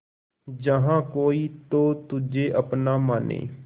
जहा कोई तो तुझे अपना माने